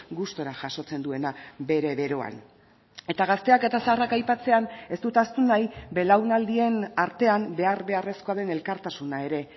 gustura jasotzen duena bere beroan eta gazteak eta zaharrak aipatzean ez dut ahaztu nahi belaunaldien artean behar beharrezkoa den elkartasuna ere